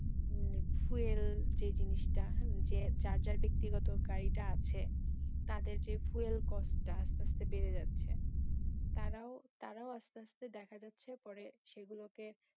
উম fuel যে জিনিসটা hmm যার যার ব্যাক্তিগত গাড়িটা আছে তাদের যে fuel cost টা আস্তে আস্তে বেড়ে যাচ্ছে, তারাও, তারাও আস্তে আস্তে দেখা যাচ্ছে পরে সেগুলোকে